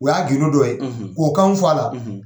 O y'a gindo dɔ ye k'o kanw fɔ a la.